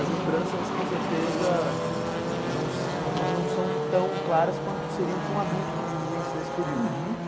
As lembranças, com certeza, não são tão claras quanto seriam para um adulto que vivenciou esse período.